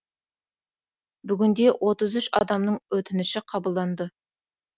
бүгінде отыз үш адамның өтініші қабылданды